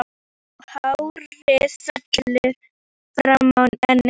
Og hárið fellur fram á ennið.